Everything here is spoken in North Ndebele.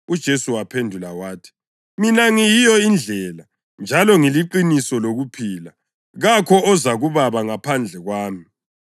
UJesu waphendula wathi, “Mina ngiyiyo indlela njalo ngiliqiniso lokuphila. Kakho oza kuBaba ngaphandle kwami.